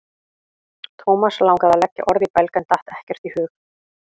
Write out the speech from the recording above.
Thomas langaði að leggja orð í belg en datt ekkert í hug.